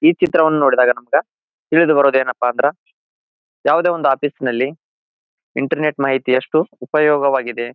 ಈ ಚಿತ್ರವನ್ನು ನೋಡಿದಾಗ ನಮಗ ತಿಳಿದುಬರುವುದು ಏನಪ್ಪಾ ಅಂದ್ರ ಯಾವುದೇ ಒಂದು ಆಫೀಸ್ ನಲ್ಲಿ ಇಂಟರ್ನೆಟ್ ಮಾಹಿತಿ ಅಷ್ಟು ಉಪಯೋಗ ವಾಗಿದೆ.